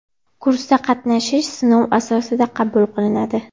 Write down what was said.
Kursda qatnashish sinov asosida qabul qilinadi!